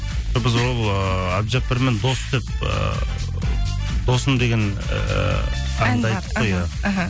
біз ол ыыы әбджіппармен дос деп ы досым деген ыыы ән бар иә іхі